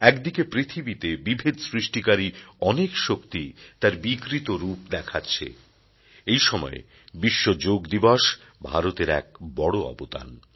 একদিকে পৃথিবীতে বিভেদ সৃষ্টিকারী অনেক শক্তি তার বিকৃত রূপ দেখাচ্ছে এই সময়ে বিশ্ব যোগ দিবস ভারতের এক বড় অবদান